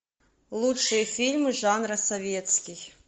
лучшие фильмы жанра советский